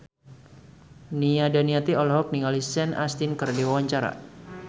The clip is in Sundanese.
Nia Daniati olohok ningali Sean Astin keur diwawancara